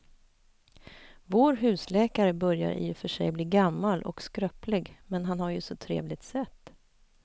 Vår husläkare börjar i och för sig bli gammal och skröplig, men han har ju ett sådant trevligt sätt!